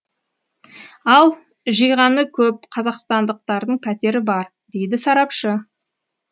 ал жиғаны көп қазақстандықтардың пәтері бар дейді сарапшы